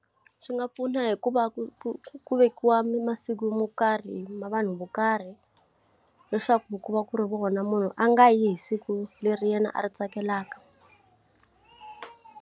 Swi nga pfuna hi ku va ku ku ku vekiwa masiku mo karhi na vanhu vo karhi. Leswaku ku va ku ri vona munhu a nga yi hi siku leri yena a ri tsakelaka.